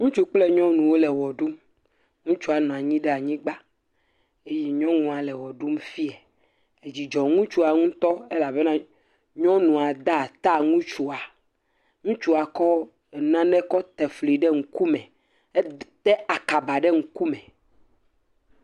Ŋutsu kple nyɔnuwo le wɔ ɖum. Ŋutsua nɔ anyi ɖe anyigba eye nyɔnua le wɔ ɖum fia. Edzidzɔ ŋutsua ŋutɔ elabena nyɔnua da ata ŋutsua. Ŋutsua kɔ nane kɔ te fli ɖe ŋkume. Ete akaba ɖe ŋku me.